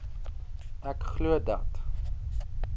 ek glo dat